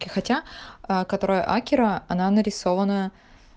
хотя которая акира она нарисована